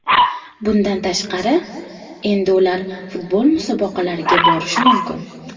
Bundan tashqari, endi ular futbol musobaqalariga borishi mumkin.